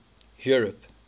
europe